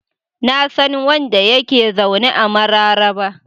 Na san wanda ya ke zaune a Mararaba.